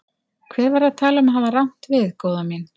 Hver var að tala um að hafa rangt við, góða mín.